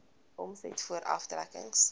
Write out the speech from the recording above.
omset voor aftrekkings